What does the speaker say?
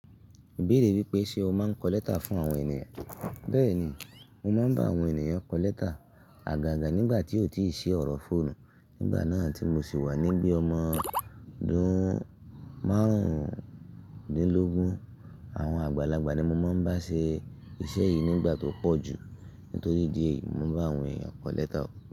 Ìbéèrè wípé ṣe o máa ń kọ lẹ́tà fún àwọn ènìyàn? Bẹ́ẹ̀ni, mo máa ń bá àwọn ènìyàn kọ lẹ́tà, àgàgà nígbà tí ó ò tíì ṣe ọ̀rọ̀ fóònù. Nígbà náà tí mo sì wà níbí ọmọ dún márùndínlógún, àwọn àgbàlagbà ni mo máa ń bá ṣe iṣẹ́ yìí nígbà tó pọ̀jù. Nítorí díè, mo bá àwọn ènìyàn kọ lẹ́tà.